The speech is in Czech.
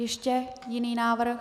Ještě jiný návrh?